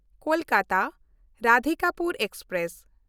ᱠᱳᱞᱠᱟᱛᱟ–ᱨᱟᱫᱷᱤᱠᱟᱯᱩᱨ express